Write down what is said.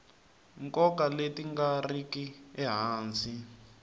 nkoka leti nga riki ehansi